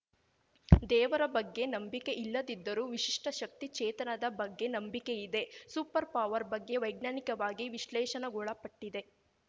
ದೇವರ ಬಗ್ಗೆ ನಂಬಿಕೆ ಇಲ್ಲದಿದ್ದರೂ ವಿಶಿಷ್ಟಶಕ್ತಿ ಚೇತನದ ಬಗ್ಗೆ ನಂಬಿಕೆ ಇದೆ ಸೂಪರ್‌ಪವರ್ ಬಗ್ಗೆ ವೈಜ್ಞಾನಿಕವಾಗಿ ವಿಶ್ಲೇಷಣೆಗೊಳಪಟ್ಟಿದೆ